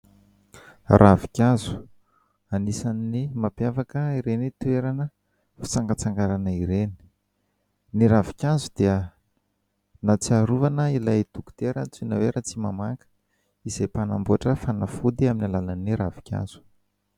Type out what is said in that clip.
Ravinkazo anisan'ny mampiavaka ireny toerana fitsangatsanganana ireny. Ny ravinkazo dia ahatsiarovana ilay dokotera antsoina hoe Ratsimamanga, izay mpanamboatra fanafody amin'ny alalan'ny ravinkazo.